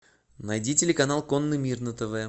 найди телеканал конный мир на тв